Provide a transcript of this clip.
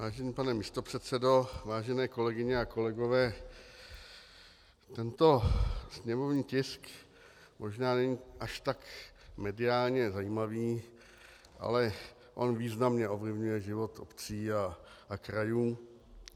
Vážený pane místopředsedo, vážené kolegyně a kolegové, tento sněmovní tisk možná není až tak mediálně zajímavý, ale on významně ovlivňuje život obcí a krajů.